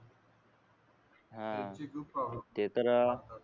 हा ते तर